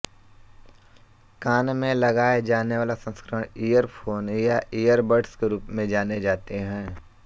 कान में लगाये जानेवाले संस्करण इयरफ़ोन या इयरबड्स के रूप में जाने जाते हैं